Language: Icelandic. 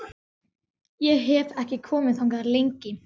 Ég hef ekki komið þangað lengi.